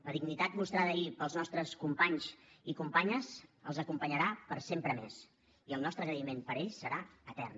la dignitat mostrada ahir pels nostres companys i companyes els acompanyarà per sempre més i el nostre agraïment per ells serà etern